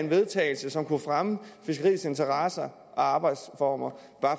vedtagelse som kunne fremme fiskeriets interesser og arbejdsformer